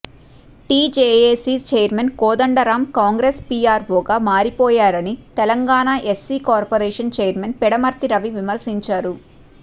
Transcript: tea JAC chairman Kodandaram Congress పీఆర్వోగా మారిపోయారని Telangana SC corporation chairman Pidamarthi Ravi విమర్శించారు